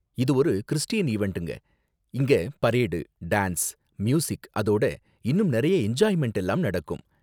இது ஒரு கிறிஸ்டியன் ஈவண்ட்ங்க, இங்க பரேடு, டான்ஸ், மியூசிக் அதோட இன்னும் நிறைய என்ஜாய்மெண்ட் எல்லாம் நடக்கும்.